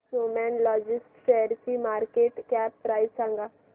Snowman logist शेअरची market cap price सांगा